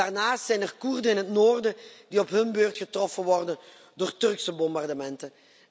Daarnaast zijn er Koerden in het noorden die op hun beurt getroffen worden door Turkse bombardementen.